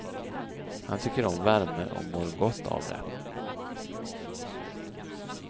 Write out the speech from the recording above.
Han tycker om värme och mår gott av det.